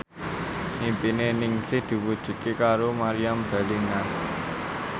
impine Ningsih diwujudke karo Meriam Bellina